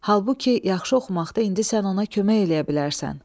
Halbuki yaxşı oxumaqda indi sən ona kömək eləyə bilərsən.